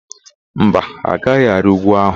Mba, ha agaghị arị úgwú ahụ.